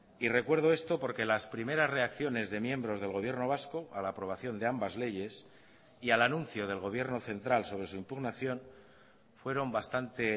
y recuerdo esto porque las primeras reacciones de miembros del gobierno vasco a la aprobación de ambas leyes y al anuncio del gobierno central sobre su impugnación fueron bastante